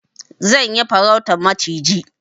Zan yi farautan maciji.